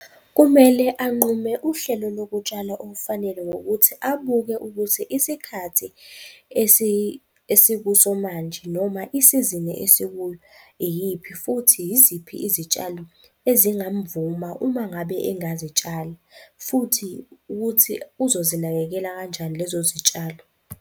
Kumele anqume uhlelo lokutshala olufanele ngokuthi abuke ukuthi isikhathi esikuso manje noma isizini esikuyo iyiphi futhi yiziphi izitshalo ezingamvuma uma ngabe engazitshala, futhi ukuthi uzozinakekela kanjani lezo zitshalo.